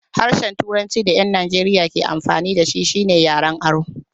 Harshen turancin da ƴan Najeriya ke amfani da shi shine yaren aro.